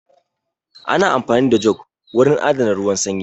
Ana amfani da jug wurin adana ruwan sanyi